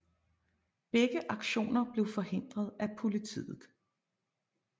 Begge aktioner blev forhindret af politiet